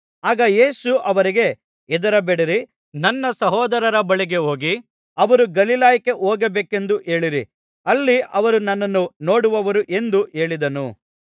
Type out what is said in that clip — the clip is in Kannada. ಆಗ ಯೇಸು ಅವರಿಗೆ ಹೆದರಬೇಡಿರಿ ನನ್ನ ಸಹೋದರರ ಬಳಿಗೆ ಹೋಗಿ ಅವರು ಗಲಿಲಾಯಕ್ಕೆ ಹೋಗಬೇಕೆಂದು ಹೇಳಿರಿ ಅಲ್ಲಿ ಅವರು ನನ್ನನ್ನು ನೋಡುವರು ಎಂದು ಹೇಳಿದನು